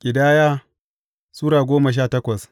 Ƙidaya Sura goma sha takwas